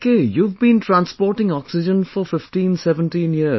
Okay, you've been transporting oxygen for 15 17 years